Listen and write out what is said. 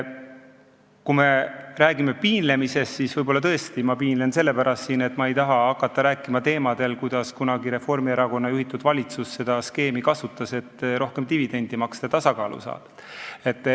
Kui me räägime piinlemisest, siis võib-olla tõesti ma piinlen siin, seda sellepärast, et ma ei taha hakata rääkima sellel teemal, kuidas kunagi Reformierakonna juhitud valitsus kasutas seda skeemi, et saada rohkem dividendi ja viia eelarve tasakaalu.